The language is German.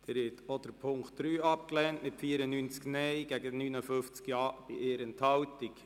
Sie haben auch den Punkt 3 abgelehnt mit 94 Nein- gegen 59 Ja-Stimmen bei 1 Enthaltung.